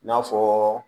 I n'a fɔɔ